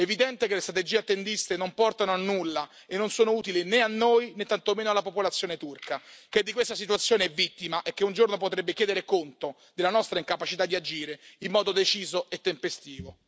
È evidente che le strategie attendiste non portano a nulla e non solo utili né a noi né tantomeno alla popolazione turca, che di questa situazione è vittima e che un giorno potrebbe chiedere conto della nostra incapacità di agire in modo deciso e tempestivo.